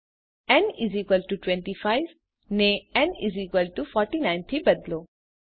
ન 25 ને ન 49 થી બદલો